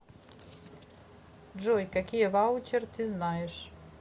джой какие ваучер ты знаешь